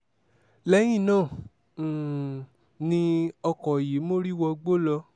lẹ́yìn náà um ni ọkọ̀ yìí mórí wọ igbó lọ